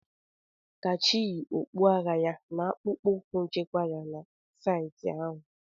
Kachi yi okpu agha ya na akpụkpọ ụkwụ nchekwa na saịtị ahụ.